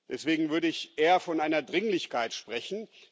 Deswegen würde ich eher von einer Dringlichkeit sprechen.